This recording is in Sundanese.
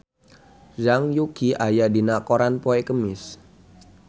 Zhang Yuqi aya dina koran poe Kemis